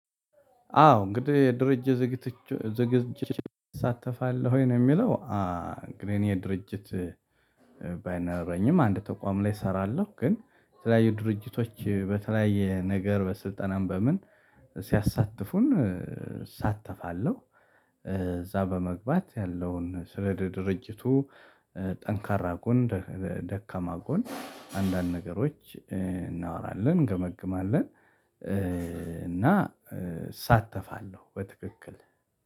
አዎ እንግዲህ ድርጅት ዝግጅት ዝግጅት ትሳተፋለህ ወይ ነው የሚለው? እንግዲህ እኔ ድርጅት ባይኖረኝም አንድ ተቋም ላይ እሰራለሁ። ግን የተለያዩ ድርጅቶች በተለያየ ነገር በስልጠናም በምን ሲያሳትፉን እሳተፋለሁ። እዛ በመግባት ያለውን ስለ ድርጅቱ ጠንካራ ጎን ደካማ ጎን አንዳንድ ነገሮች እናወራለን እንገመግማለን። እና እሳተፋለሁ በትክክል